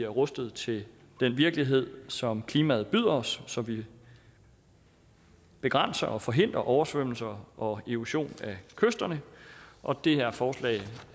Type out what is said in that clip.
rustet til den virkelighed som klimaet byder os så vi begrænser og forhindrer oversvømmelser og erosion af kysterne og det her forslag